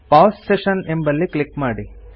pause session ಎಂಬಲ್ಲಿ click ಮಾಡಿ